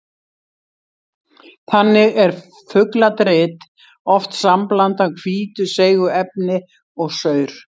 Þannig er fugladrit oft sambland af hvítu seigu efni og saur.